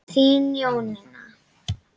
Þín Jónína.